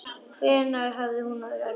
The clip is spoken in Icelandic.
Hvenær hafði hún orðið ólétt?